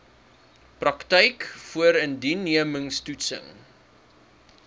praktyk voorindiensneming toetsing